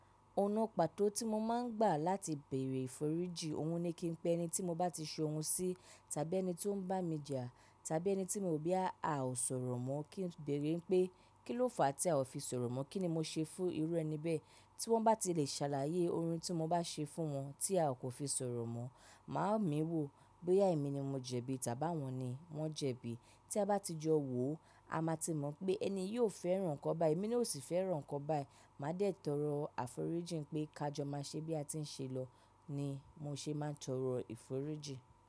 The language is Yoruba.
Ọ̀nà pàtó tí mo máa ń gbà láti bèèrè ìforíji, òhun ni kí n pe ẹni tí mo bá ti so ohun sí, tàbí ẹni tí ó ń bá mi jà, tàbí ẹni tí mo bí a ò sọ̀rọ̀ mọ́ kí n bèèrè pé, kí ló fà á tí a ò fi sọ̀rọ̀ mọ́? Kí ni mo ṣe fún irú ẹni bẹ́ẹ̀ tí wọ́n bá ti le ṣàlàyé ohun tí mo bá ṣe fún wọn tí a kò fi sọ̀rọ̀ mọ́. Mà á mì wò bóyá èmi ni mo jẹ̀bi tàbí wọ́n ni wọ́n jẹ̀bi. Tí a bá ti jọ wò ó, a máa ti mọ̀ pé ẹniyi ó fẹ́ràn nkan bái, èmi náà ó sì fẹ́ràn nkan bái. Mà á dẹ̀ tọrọ àforíjìn pé, ká jọ máa ṣe bí a ti ń ṣe lọ ni mo ṣe máa ń tọrọ ìforíjìn.